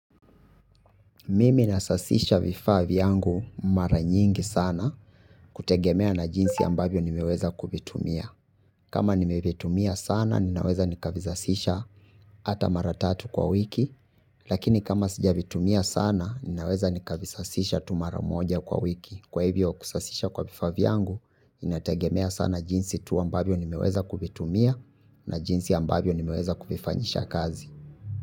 Mimi nasasisha vifaa vyangu mara nyingi sana kutegemea na jinsi ambavyo nimeweza kuvitumia. Kama nimevitumia sana ninaweza nikavisasisha hata mara tatu kwa wiki. Lakini kama sijavitumia sana ninaweza nikavisasisha tu mara moja kwa wiki. Kwa hivyo kusasisha kwa vifaa vyangu inategemea sana jinsi tu ambavyo nimeweza kuvitumia na jinsi ambavyo nimeweza kuvifanyisha kazi.